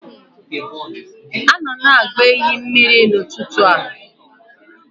Ha nọ na-agba ehi mmiri n'ụtụtụ a